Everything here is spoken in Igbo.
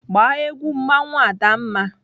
Gba egwu mmanwụ Adanma!